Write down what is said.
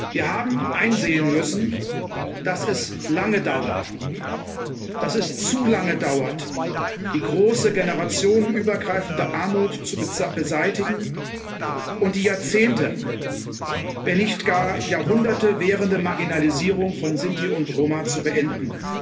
Wir haben einsehen müssen, dass es lange dauert, dass es zu lange dauert, die große generationenübergreifende Armut zu beseitigen und die Jahrzehnte, wenn nicht gar Jahrhunderte währende Marginalisierung von Sinti und Roma zu beenden.